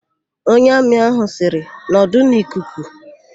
Onye Amị ahụ sịrị, "nọdụ n'ikuku"!